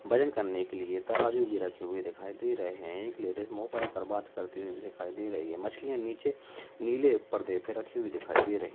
वजन करने के लिए तराजू भी रखे हुए दिखाई दे रहे हैं। एक लेडिज फोन पर बात करती हुई दिखाई दे रही है मछलियां नीचे नीले पर्दे पर रखी दिखाई दे रही --